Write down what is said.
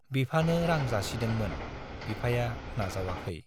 बिफानो रां जासिदोंमोन, बिफाया नाजावाखै।